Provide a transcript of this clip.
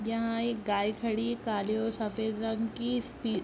यहाँ एक गाय खड़ी है काले और सफेद रंग की इसकी---